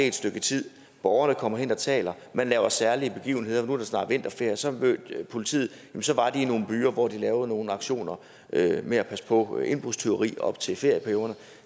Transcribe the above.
et stykke tid hvor borgerne kommer hen og taler man laver særlige begivenheder nu er det snart vinterferie og så er politiet i nogle byer hvor de laver nogle aktioner med at passe på indbrudstyveri op til ferieperioderne